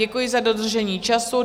Děkuji za dodržení času.